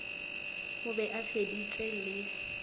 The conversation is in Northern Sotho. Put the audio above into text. o be a feditše le